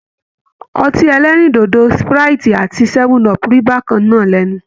Ọtí ẹlẹ́rìndòdò Sprite ati 7up rí bákan náà lẹ́nu.